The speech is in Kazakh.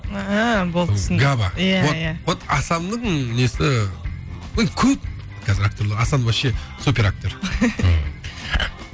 ііі болды түсіндік габа иә иә вот вот асанның несі енді көп қазір актерлер асан вообще супер актер